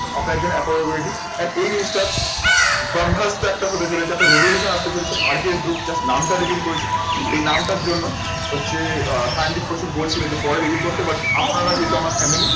আপনার জন্য appointment ready আর এই জিনিসটার বাঙ্গাল তো একটা হতে চলেছে। এটা আপনার revolution আসতে চলেছে। আরকেএস গ্রুপ, just নামটা release করেছে। এই নামটার জন্য হচ্ছে সায়নদীপ কৌশিক বলছিলেন বলছিলো পরে release করতে পারতি। আপনারা যেহেতু আমার family